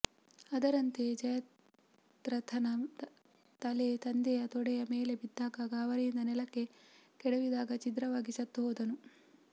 ಅದರಂತೆ ಜಯದ್ರಥನ ತಲೆ ತಂದೆಯ ತೊಡೆಯ ಮೇಲೆ ಬಿದ್ದಾಗ ಗಾಬರಿಯಿಂದ ನೆಲಕ್ಕೆ ಕೆಡವಿದಾಗ ಛಿದ್ರವಾಗಿ ಸತ್ತು ಹೋದನು